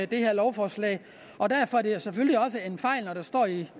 det her lovforslag og derfor er det selvfølgelig også en fejl når der står i